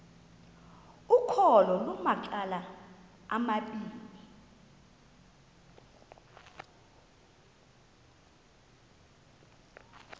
ukholo lunamacala amabini